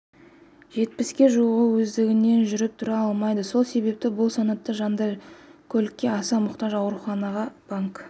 жетпіске жуығы өздігінен жүріп-тұра алмайды сол себепті бұл санатты жандар көлікке аса мұқтаж аурухана банк